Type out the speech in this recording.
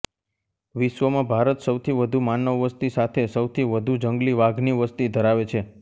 વિશ્વમાં ભારત સૌથી વધુ માનવ વસતી સાથે સૌથી વધુ જંગલી વાઘની વસતી ધરાવે છે